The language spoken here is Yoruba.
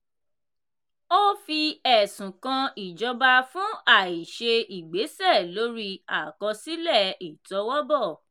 ó fi ẹ̀sùn kan ìjọba fún àìṣe ìgbésẹ̀ lórí àkọsílẹ̀ ìtọwọ́bọ̀.